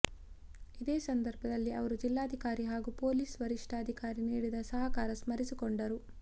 ಇದೇ ಸಂದರ್ಭದಲ್ಲಿ ಅವರು ಜಿಲ್ಲಾಧಿಕಾರಿ ಹಾಗೂ ಪೊಲೀಸ್ ವರಿಷ್ಠಾಧಿಕಾರಿ ನೀಡಿದ ಸಹಕಾರ ಸ್ಮರಿಸಿಕೊಂಡರು